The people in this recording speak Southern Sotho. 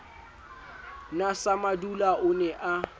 na samadula o ne a